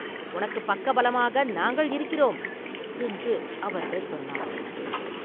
உனக்குப் பக்கபலமாக நாங்கள் இருக்கிறோம்!” என்று அவர்கள் சொன்னார்கள்.